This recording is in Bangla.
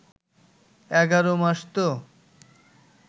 ১১ মাস তো